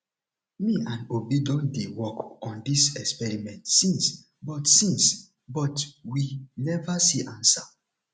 me and obi don dey work on dis experiment since but since but we never see answer